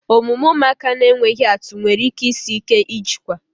Omume ụmụaka na-enweghị atụ nwere ike isi ike ijikwa